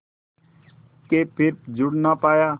के फिर जुड़ ना पाया